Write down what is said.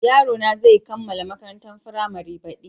Yarona zai kammala makarantar firamare baɗi.